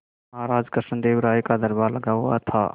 महाराज कृष्णदेव राय का दरबार लगा हुआ था